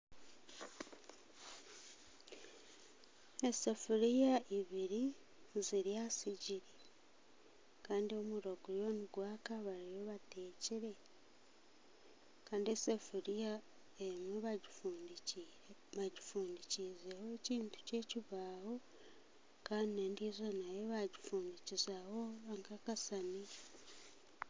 Esefuriya ibiriri ziri aha sigiri Kandi omuriro guriyo nigwaka bariyo bateekire Kandi esefuriya emwe bagifundikizeho ekintu ky'ekibaaho Kandi nendiizo bagifundikizaho akasaniya